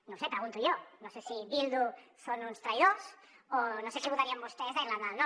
no ho sé pregunto jo no sé si bildu són uns traïdors o no sé què votarien vostès a irlanda del nord